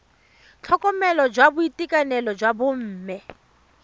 tlhokomelo ya boitekanelo jwa bomme